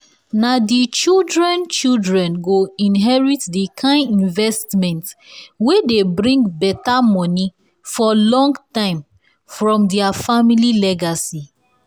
na the children-children go inherit the kind investment wey dey bring better money for long time from their family legacy.